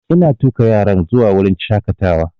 Ina tuƙa yaran zuwa wurin shaƙatawa